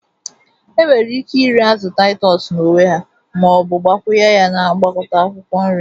Enwere ike iri azu titus n'onwe ha Ma o bu gbakwunye ya na ngwakota akwukwo nri.